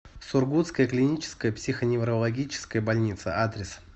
сургутская клиническая психоневрологическая больница адрес